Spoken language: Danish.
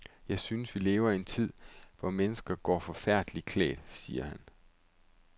Jeg synes, vi lever i en tid, hvor mennesker går forfærdeligt klædt, siger han.